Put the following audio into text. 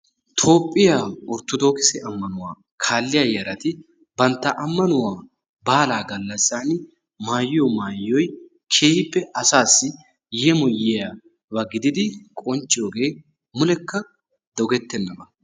Toophphiyaa orttoodokise ammanuwaa kaalliyaayaarati bantta ammanuwaa baalaa gallaasaan maayiyoo maayoy keehippe asaassi yeemoyiyaaba giididi qoncciyooge mulekka doggettenaba.